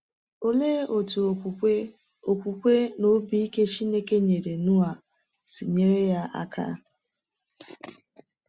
Olee otú okwukwe okwukwe na obi ike Chineke nyere Noa si nyere ya aka?